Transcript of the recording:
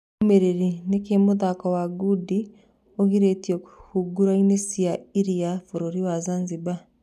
Ndũmĩrĩri, nĩkĩ mũthako wa ngundi ũgirĩtio hũgũrũ-inĩ cia iria bũrũri wa Zanzibar